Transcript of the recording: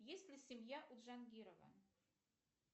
есть ли семья у джангирова